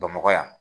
Bamakɔ yan